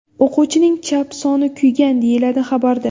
O‘quvchining chap soni kuygan”, deyiladi xabarda.